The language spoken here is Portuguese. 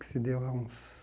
Que se deu há uns...